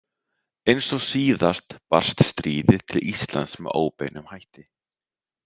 Eins og síðast barst stríðið til Íslands með óbeinum hætti.